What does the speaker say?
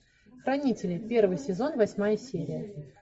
хранители первый сезон восьмая серия